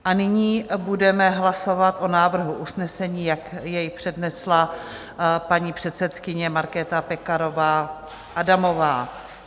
A nyní budeme hlasovat o návrhu usnesení, jak jej přednesla paní předsedkyně Markéta Pekarová Adamová.